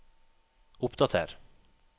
oppdater